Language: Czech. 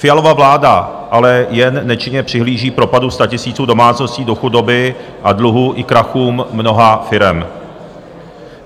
Fialova vláda ale jen nečinně přihlíží propadu statisíců domácností do chudoby a dluhům i krachům mnoha firem.